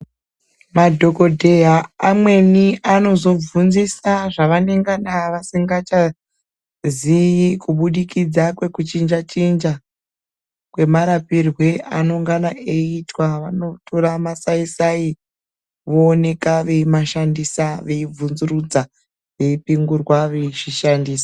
Madhokodheya amweni anovhunzisa zvavanenge asingachazivi kubudikidza kwekuchinja chinja kwemarapirwe anongana eitwa vanotora masaisai vovhunzurudza veipingurwa veishandisa.